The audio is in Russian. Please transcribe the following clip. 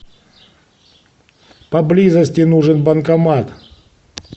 поблизости нужен банкомат